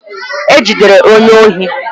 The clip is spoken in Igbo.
E jidere onye ohi